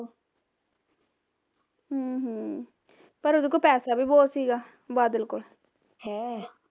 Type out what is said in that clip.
ਹਮ ਹਮ ਪਰ ਉਹਦੇ ਕੋਲ ਪੈਸਾ ਵੀ ਬਹੁਤ ਸੀਗਾ ਬਾਦਲ ਕੋਲ